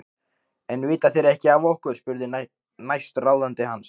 En vita þeir ekki af okkur? spurði næstráðandi hans.